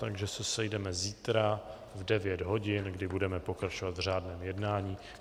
Takže se sejdeme zítra v 9 hodin, kdy budeme pokračovat v řádném jednání.